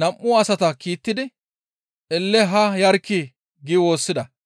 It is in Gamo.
nam7u asata kiittidi, «Elle haa yarkkii!» gi woossida.